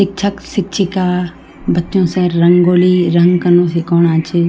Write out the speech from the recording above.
इक्छक शिक्षिका बच्चों से रंगोली रंग कना सिखौना छी।